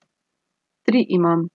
Tri imam.